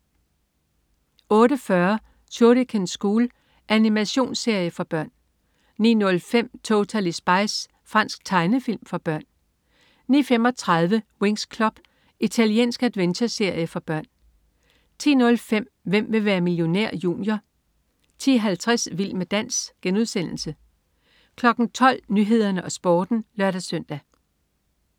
08.40 Shuriken School. Animationsserie for børn 09.05 Totally Spies. Fransk tegnefilm for børn 09.35 Winx Club. Italiensk adventureserie for børn 10.05 Hvem vil være millionær? Junior 10.50 Vild med dans* 12.00 Nyhederne og Sporten (lør-søn)